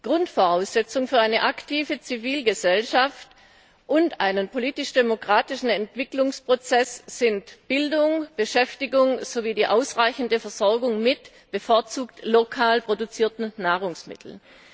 Grundvoraussetzung für eine aktive Zivilgesellschaft und einen politisch demokratischen Entwicklungsprozess sind Bildung, Beschäftigung sowie die ausreichende Versorgung mit bevorzugt lokal produzierten Nahrungsmitteln.